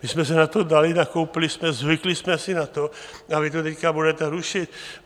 My jsme se na to dali, nakoupili jsme, zvykli jsme si na to, a vy to teď budete rušit?